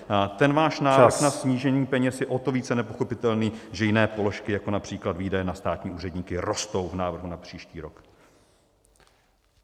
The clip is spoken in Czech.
Ten váš návrh na snížení peněz je o to více nepochopitelný, že jiné položky, jako například výdaje na státní úředníky, rostou v návrhu na příští rok.